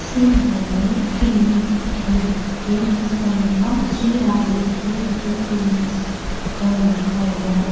इसमें हमें दिखाई दे रही है जिसका नाम श्री राजेश्वरी बुक लिंक्स का लिखा हुआ है।